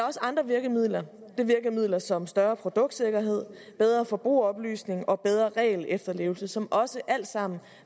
også andre virkemidler det er virkemidler som større produktsikkerhed bedre forbrugeroplysning og bedre regelefterlevelse som også alt sammen